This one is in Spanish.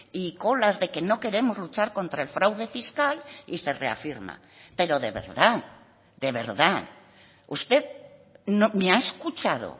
y colas de que no queremos luchar contra el fraude fiscal y se reafirma pero de verdad de verdad usted me ha escuchado